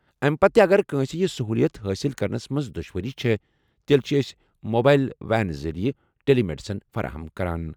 اَمہِ پتہٕ تہِ اگر کٲنٛسہِ یہِ سٔہوٗلِیت حٲصِل کرنس منٛز دُشوٲری چھےٚ، تیٚلہِ چھِ أسۍ موبایِل وین ذٔریعہٕ ٹیلی میڈیسن فراہم کران۔